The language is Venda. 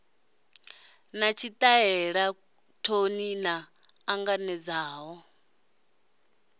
na tshitaela thouni na anganedzaho